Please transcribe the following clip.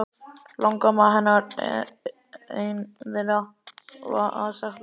Langalangamma hennar ein þeirra að sagt var.